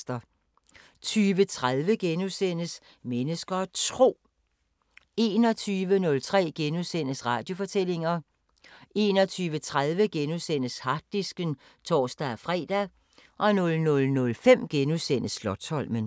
20:30: Mennesker og Tro * 21:03: Radiofortællinger * 21:30: Harddisken *(tor-fre) 00:05: Slotsholmen *